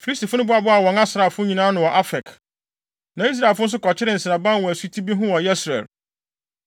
Filistifo no boaboaa wɔn asraafo nyinaa ano wɔ Afek, na Israelfo nso kɔkyeree nsraban wɔ asuti bi ho wɔ Yesreel.